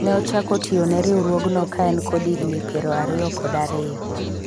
ne ochako tiyo ne riwruogno ka en kod higni piero ariyo kod ariyo